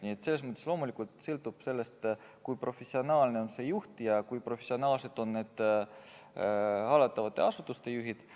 Nii et selles mõttes sõltub loomulikult kõik sellest, kui professionaalne on see juht ja kui professionaalsed on hallatavate asutuste juhid.